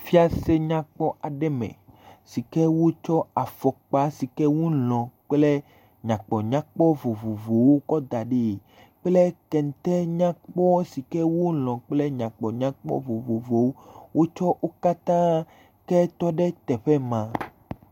Fiase nyakpɔ aɖe me si ke wotsɔ afɔkpa si ke wolɔ̃ kple nyakpɔnyakpɔ vovovowo kɔ da ɖie kple kete nyakpɔ si ke wolɔ̃ kple nyakpɔnyakpɔ vovovowo wo tsɔ wo katã ke tɔ ɖe teƒe ma.